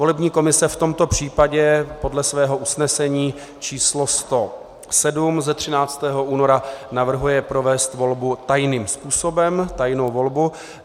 Volební komise v tomto případě podle svého usnesení číslo 107 ze 13. února navrhuje provést volbu tajným způsobem, tajnou volbu.